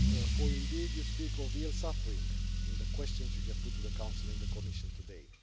For, indeed, you speak of real suffering in the questions you have put to the Council and the Commission today.